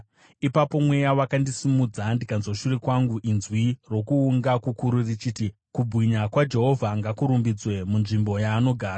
Ipapo mweya wakandisimudza, ndikanzwa shure kwangu inzwi rokuunga kukuru richiti, “Kubwinya kwaJehovha ngakurumbidzwe munzvimbo yaanogara!”